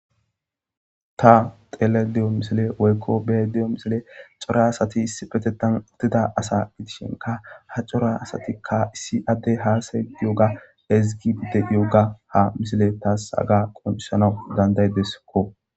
ta xeelediyo misile woykko be'ayda diyo misile cora asati issi petetan uttida asa gidishinka ha cora asatikka issi addey haasay diyoga ezigi de iyoga ha misile taas aga qonisanau dandaydeskko